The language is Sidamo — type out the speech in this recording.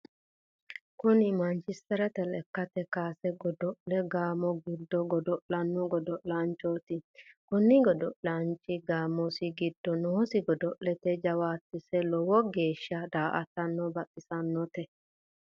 kuni manchisterete lekkate kaase godo'le gaamo giddo godo'lanno godo'laanchoti. kuni godo'laanchi gaamosi giddo noosi godo'lete jawaantesi lowo geesha da"ataano baxissanote.